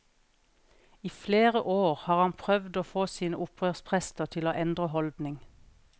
I flere år har han prøvd å få sine opprørsprester til å endre holdning.